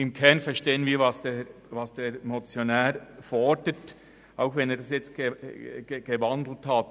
Im Kern verstehen wir, was der Motionär fordert, auch wenn er die Motion jetzt in ein Postulat umgewandelt hat.